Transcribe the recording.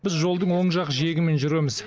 біз жолдың оң жақ жиегімен жүреміз